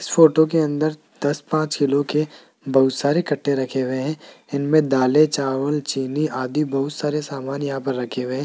इस फोटो के अंदर दस पांच किलो के बहुत सारे कट्टे रखे हुए हैं इनमें दालें चावल चीनी आदि बहुत सारे सामान यहां पर रखे हुए हैं।